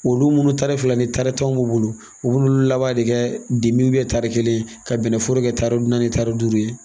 Olu munnu ni tari fila ni tari tanw mun bolo, u bu n'olu laban de kɛ ye tari kelen ka bɛnnforo kɛ tari naani tari duuru ye.